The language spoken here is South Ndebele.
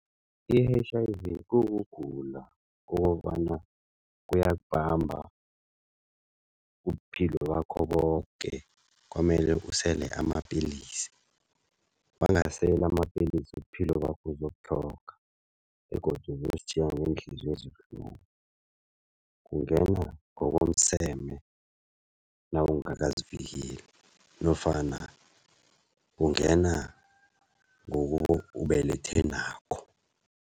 I-H_I_V kukugula kokobana kuyakubamba ubuphilo bakho boke, kwamele usele amapilisi. Wangasela amapelisi ubuphilo bakho uzobutlhoga begodu uzositjhiya ngeenhliziyo ezibuhlungu. Kungena ngokomseme nawungakazivikeli nofana kungena ngokubelethe nakho.